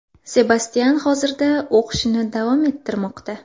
Sebastyan hozirda o‘qishini davom ettirmoqda.